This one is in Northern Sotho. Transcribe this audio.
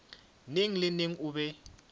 neng le neng o be